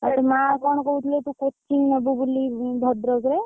ଆଉ ତୋ ମା କଣ କହୁଥିଲେ ତୁ coaching ନବୁ ବୋଲି ଭଦ୍ରକ ରେ।